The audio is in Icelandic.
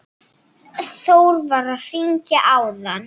Þór var að hringja áðan.